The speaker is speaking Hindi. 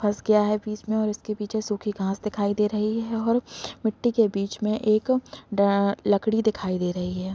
फस गया है बीच में और इसके पीछे सुखी घास दिखाई दे रही है और मिट्टी के बीच में एक डा लकड़ी दिखाई दे रही है।